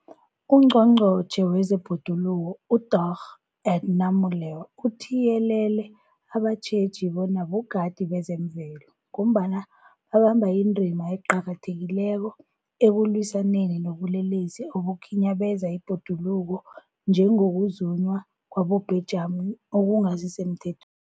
UNgqongqotjhe wezeBhoduluko uDorh Edna Molewa uthiyelele abatjheji bona bogadi bezemvelo, ngombana babamba indima eqakathekileko ekulwisaneni nobulelesi obukhinyabeza ibhoduluko, njengokuzunywa kwabobhejani okungasisemthe